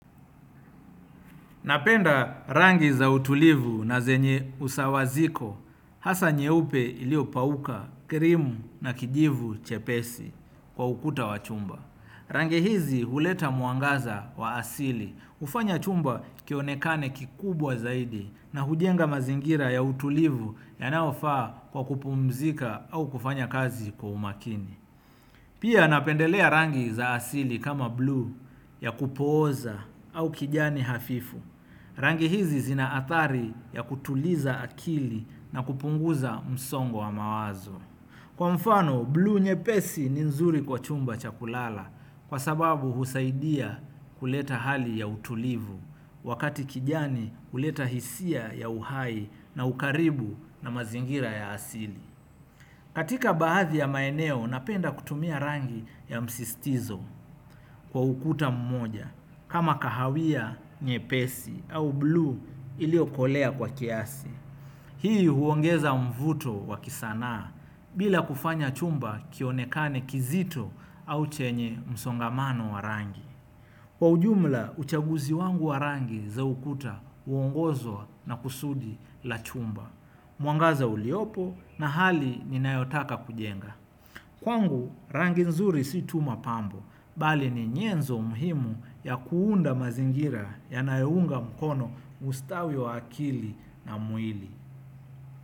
Napenda rangi za utulivu na zenye usawaziko, hasa nyeupe iliopauka krimu na kijivu chepesi kwa ukuta wa chumba. Rangi hizi huleta mwangaza wa asili. Hufanya chumba kionekane kikubwa zaidi na hujenga mazingira ya utulivu yanayofaa kwa kupumzika au kufanya kazi kwa umakini pia napendelea rangi za asili kama bluu ya kupooza au kijani hafifu rangi hizi zina athari ya kutuliza akili na kupunguza msongo wa mawazo. Kwa mfano, bluu nyepesi ni nzuri kwa chumba cha kulala kwa sababu husaidia kuleta hali ya utulivu wakati kijani kuleta hisia ya uhai na ukaribu na mazingira ya asili. Katika baadhi ya maeneo napenda kutumia rangi ya msisitizo kwa ukuta mmoja kama kahawia nyepesi au bluu iliyokolea kwa kiasi. Hii huongeza mvuto wa kisanaa bila kufanya chumba kionekane kizito au chenye msongamano wa rangi. Kwa ujumla, uchaguzi wangu wa rangi za ukuta huongozwa na kusudi la chumba, mwangaza uliyopo na hali ninayotaka kujenga. Kwangu, rangi nzuri si tu mapambo, bali ni nyenzo muhimu ya kuunda mazingira yanayounga mkono ustawi wa akili na mwili.